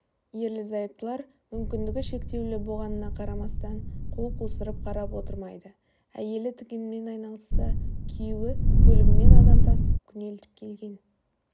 ерлі зайыптылар мүмкіндігі шектеулі боғанына қарамастан қол қусырып қарап отырмайды әйелі тігінмен айналысса күйеуі көлігімен адам тасып күнелтіп келген